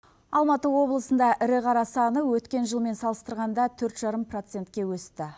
алматы облысында ірі қара саны өткен жылмен салыстырғанда төрт жарым процентке өсті